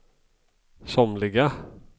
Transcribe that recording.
somliga